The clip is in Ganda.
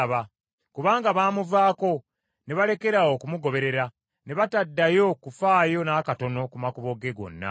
kubanga baamuvaako ne balekeraawo okumugoberera ne bataddayo kufaayo n’akatono ku makubo ge gonna.